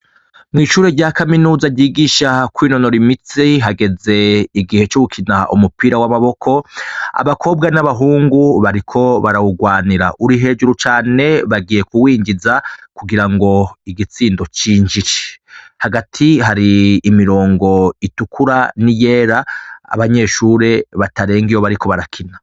Mw'ishure rya Kaminuza, ryigisha kwinonora imitsi hageze igihe co gukina umupira w'amaboko, abakobwa n'abahungu bariko barawugwanira, uri hejuru cane bagiye kuwinjiza kugira ngo igitsindo cinjire. Hagati hari imirongo itukura n'iyera abanyeshure batarenga iyo bariko barakina.